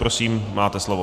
Prosím, máte slovo.